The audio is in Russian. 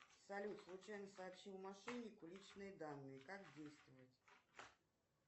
салют случайно сообщила мошеннику личные данные как действовать